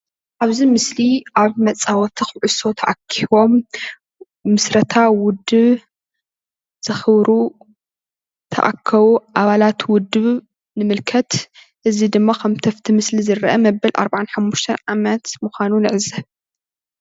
እብዚ ምስሊ ኣብ መፃወቲ ኩዕሶ ተኣኪቦም ምስረታ ውድብ ዘኽብሩ ዝተኣከቡ ኣባላት ውድብ ንምልከት። እዚ ድማ ከምቲ ኣብቲ ምስሊ ዝርአ መበል 45 ዓመት ምዃኑ ንዕዘብ።